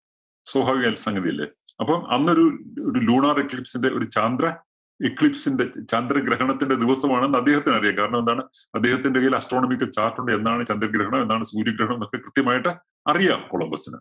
സ്വഭാവികമായ ഒരു സംഗതി അല്ലേ. അപ്പം അന്നൊരു ഒരു lunar eclipse ന്റെ ഒരു ചാന്ദ്ര eclipse ന്റെ ചാന്ദ്ര ഗ്രഹണത്തിന്റെ ദിവസമാണ് എന്ന് അദ്ദേഹത്തിന് അറിയാം. കാരണം എന്താണ് അദ്ദേഹത്തിന്റെ കൈയില്‍ astronomical chart ഉണ്ട്. എന്നാണ് ചന്ദ്രഗ്രഹണം, എന്നാണ് സൂര്യഗ്രഹണം എന്നൊക്കെ കൃത്യമായിട്ട്‌ അറിയാം കൊളംബസിന്.